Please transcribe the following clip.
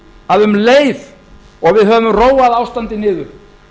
að um leið og við höfum róað ástandið niður